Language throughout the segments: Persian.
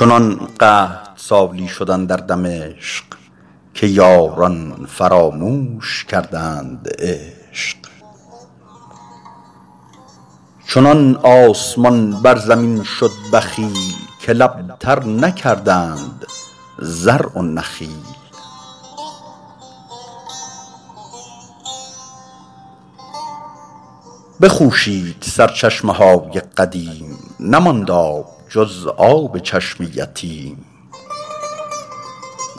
چنان قحط سالی شد اندر دمشق که یاران فراموش کردند عشق چنان آسمان بر زمین شد بخیل که لب تر نکردند زرع و نخیل بخوشید سرچشمه های قدیم نماند آب جز آب چشم یتیم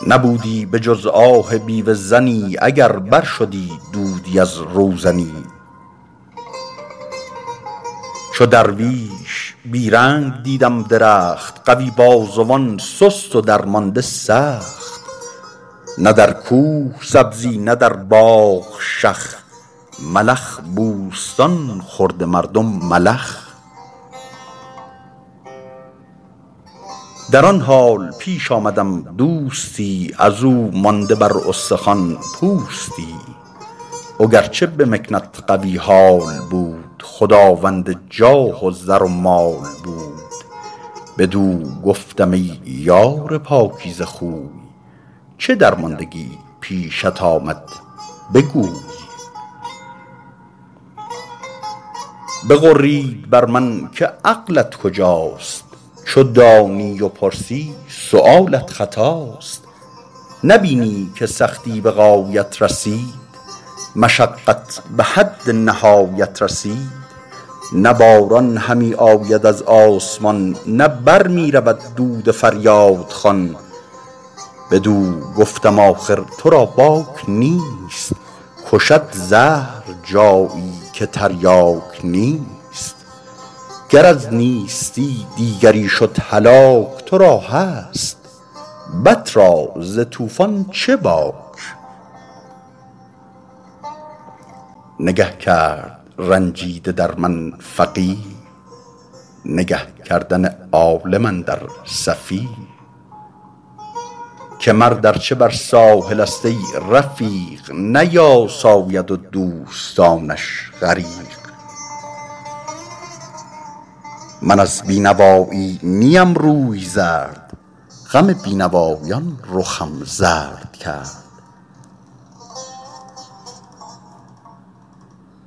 نبودی به جز آه بیوه زنی اگر بر شدی دودی از روزنی چو درویش بی رنگ دیدم درخت قوی بازوان سست و درمانده سخت نه در کوه سبزی نه در باغ شخ ملخ بوستان خورده مردم ملخ در آن حال پیش آمدم دوستی از او مانده بر استخوان پوستی وگرچه به مکنت قوی حال بود خداوند جاه و زر و مال بود بدو گفتم ای یار پاکیزه خوی چه درماندگی پیشت آمد بگوی بغرید بر من که عقلت کجاست چو دانی و پرسی سؤالت خطاست نبینی که سختی به غایت رسید مشقت به حد نهایت رسید نه باران همی آید از آسمان نه بر می رود دود فریادخوان بدو گفتم آخر تو را باک نیست کشد زهر جایی که تریاک نیست گر از نیستی دیگری شد هلاک تو را هست بط را ز طوفان چه باک نگه کرد رنجیده در من فقیه نگه کردن عالم اندر سفیه که مرد ارچه بر ساحل است ای رفیق نیاساید و دوستانش غریق من از بینوایی نیم روی زرد غم بینوایان رخم زرد کرد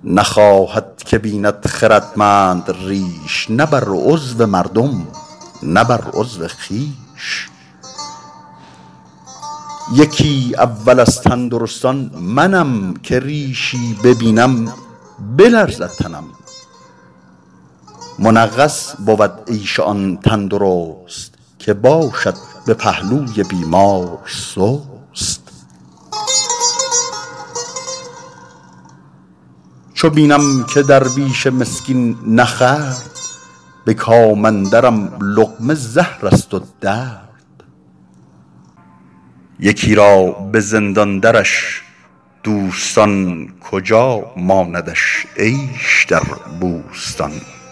نخواهد که بیند خردمند ریش نه بر عضو مردم نه بر عضو خویش یکی اول از تندرستان منم که ریشی ببینم بلرزد تنم منغص بود عیش آن تندرست که باشد به پهلوی بیمار سست چو بینم که درویش مسکین نخورد به کام اندرم لقمه زهر است و درد یکی را به زندان درش دوستان کجا ماندش عیش در بوستان